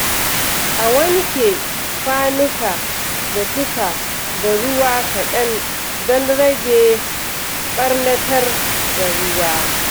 A wanke kwanuka da tufa da ruwa kaɗan don rage ɓarnatar da ruwa.